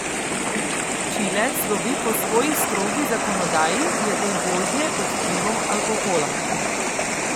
Čile slovi po svoji strogi zakonodaji glede vožnje pod vplivom alkohola.